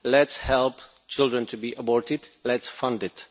Let us help children to be aborted, let us fund it.